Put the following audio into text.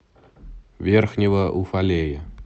верхнего уфалея